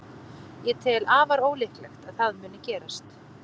Ég tel afar ólíklegt að það muni gerast.